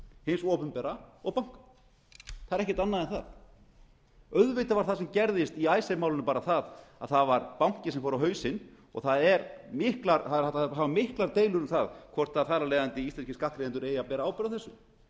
hins opinbera og banka það er ekkert annað en það auðvitað var það sem gerðist í icesave einu bara það að það var banki sem fór á hausinn og það voru miklar deilur um það hvort þar af leiðandi íslenskir skattgreiðendur eigi að bera ábyrgð á þessu